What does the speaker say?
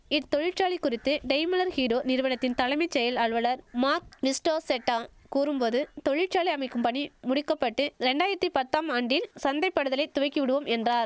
இத்தொழிற்சாலை குறித்து Daimler Hero நிறுவனத்தின் தலைமை செயல் அலுவலர் மாக் நிஸ்டோசெட்டா கூறும் போது தொழிற்சாலை அமைக்கும் பணி முடிக்கப்பட்டு ரெண்டாயிரத்தி பத்தாம் ஆண்டின் சந்தைப்படுத்தலை துவக்கிவிடுவோம் என்றார்